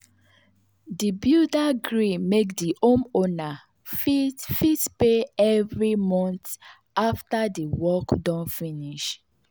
the builder gree make the homeowner fit fit pay every month after the work don finish.